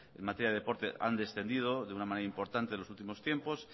en materia de deporte han descendido de una manera importante en los últimos tiempos